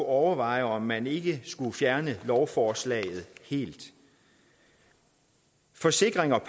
overveje om man ikke skulle fjerne lovforslaget helt forsikring